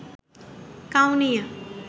Kaunia